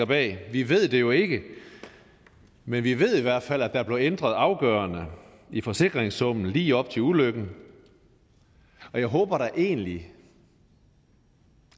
bag vi ved det jo ikke men vi ved i hvert fald at der blev ændret afgørende i forsikringssummen lige op til ulykken og jeg håber da egentlig